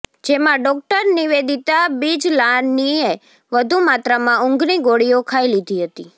જેમાં ડોક્ટર નિવેદિતા બીજલાનીએ વધુ માત્રામા ઉંધની ગોળીઓ ખાઈ લીધી હતી